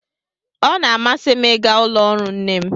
Ọ na-amasị m ịga ụlọ ọrụ nne m